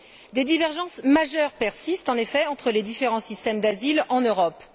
Des divergences majeures persistent en effet entre les différents systèmes d'asile en Europe.